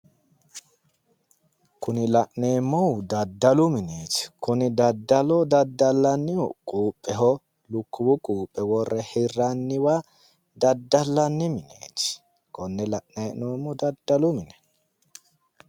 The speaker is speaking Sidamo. Kuni la'neemmohu daddalu mineeti, kini daddalu daddallannihu quupheho, lukkuwu quuphe worre hirranniwa daddallanni mineeti, konne la'nani hee'noommohu daddalu mine.